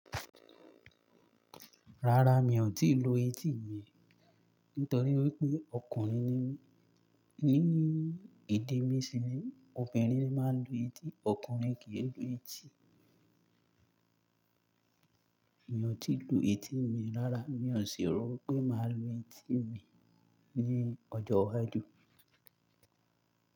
Rárá, mi ò tíì lo etí mi, nítorí wípé ọkùnrin ni mí. Ni èdè mi síni obìnrin ni máa ń lu etí, ọkùnrin kì í lu etí. Mi ò tí lu etí mi rárá, mi ò sì rò pé màá lu etí mi ní ọjọ́ iwájú.